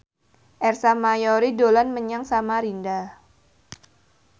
Ersa Mayori dolan menyang Samarinda